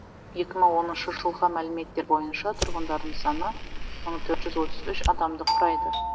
екі мың оныншы жылғы мәліметтер бойынша тұрғындарының саны мың төрт жүз отыз үш адамды құрайды